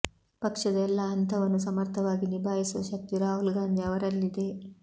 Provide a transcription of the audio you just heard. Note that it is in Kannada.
ಪಕ್ಷದ ಎಲ್ಲಾ ಹಂತವನ್ನು ಸಮರ್ಥವಾಗಿ ನಿಭಾಯಿಸುವ ಶಕ್ತಿ ರಾಹುಲ್ ಗಾಂಧಿ ಅವರಲ್ಲಿದೆ